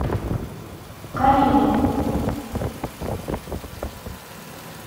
карелин